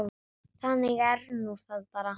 Þannig er nú það bara.